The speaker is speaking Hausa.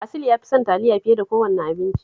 Asil ya fi son taliya fiye da kowane abinci